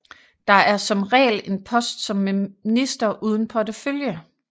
Der er som regel en post som minister uden portefølje